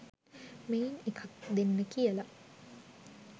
මෙයින් එකක් දෙන්න කියලා.